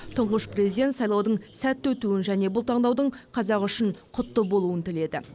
тұңғыш президент сайлаудың сәтті өтуін және бұл таңдаудың қазақ үшін құтты болуын тіледі